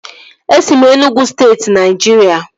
E si m Enugwu steeti Naijiria